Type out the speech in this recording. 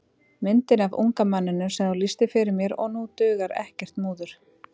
Myndina af unga manninum sem þú lýstir fyrir mér og nú dugar ekkert múður.